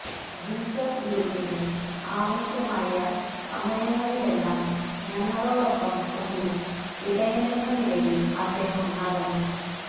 Jesus യൂത്തിന് ആവശ്യമായ സമയങ്ങളിലെല്ലാം ഞങ്ങളോടൊടൊപ്പം ഒരു ഇടയനെന്ന നിലയിൽ അദ്ദേഹം നടന്നു